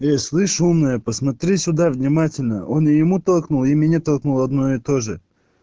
э слышь умная посмотри сюда внимательно он ему толкнул и мне толкнул одно и тоже